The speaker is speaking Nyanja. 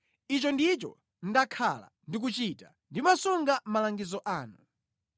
Ichi ndicho ndakhala ndikuchita: ndimasunga malangizo anu.